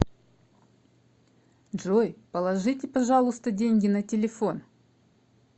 джой положите пожалуйста деньги на телефон